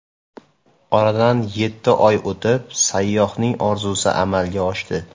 Oradan yetti oy o‘tib, sayyohning orzusi amalga oshdi.